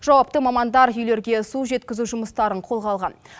жауапты мамандар үйлерге су жеткізу жұмыстарын қолға алған